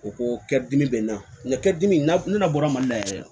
O ko kɛ dimi bɛ n na nga kɛdimi na bɔra mali la yɛrɛ